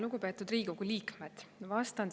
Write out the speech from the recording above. Lugupeetud Riigikogu liikmed!